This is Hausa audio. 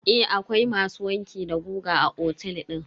Eh akwai masu wanki da goga a otel din.